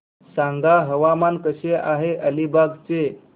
सांगा हवामान कसे आहे अलिबाग चे